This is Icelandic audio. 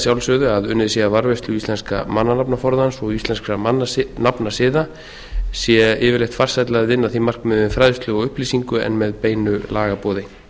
sjálfsögðu að unnið sé að varðveislu íslenska mannanafnaforðans og íslenskra nafnasiða sé yfirleitt farsælla að vinna að því markmiði með fræðslu og upplýsingu en með beinu lagaboði